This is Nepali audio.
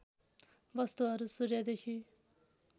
वस्तुहरू सूर्यदेखि